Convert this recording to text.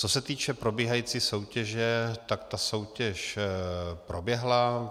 Co se týče probíhající soutěže, tak ta soutěž proběhla.